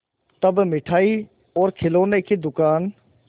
तब मिठाई और खिलौने की दुकान